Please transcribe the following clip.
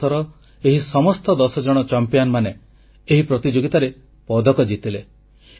ଆମ ଦେଶର ଏହି ସମସ୍ତ ଦଶଜଣ ଚମ୍ପିଆନମାନେ ଏହି ପ୍ରତିଯୋଗିତାରେ ପଦକ ଜିତିଲେ